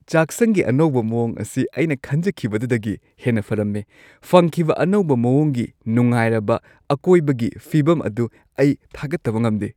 ꯆꯥꯛꯁꯪꯒꯤ ꯑꯅꯧꯕ ꯃꯑꯣꯡ ꯑꯁꯤ ꯑꯩꯅ ꯈꯟꯖꯈꯤꯕꯗꯨꯗꯒꯤ ꯍꯦꯟꯅ ꯐꯔꯝꯃꯦ; ꯐꯪꯈꯤꯕ ꯑꯅꯧꯕ ꯃꯑꯣꯡꯒꯤ ꯅꯨꯡꯉꯥꯏꯔꯕ ꯑꯀꯣꯏꯕꯒꯤ ꯐꯤꯚꯝ ꯑꯗꯨ ꯑꯩ ꯊꯥꯒꯠꯇꯕ ꯉꯝꯗꯦ ꯫